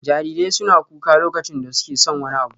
Jarirai suna kuka lokacin da suke son wani abu.